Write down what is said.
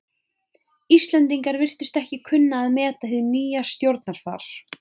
Íslendingar virtust ekki kunna að meta hið nýja stjórnarfar.